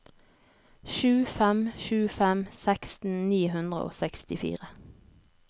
sju fem sju fem seksten ni hundre og sekstifire